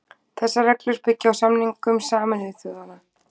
Þessar reglur byggja á samningum Sameinuðu þjóðanna.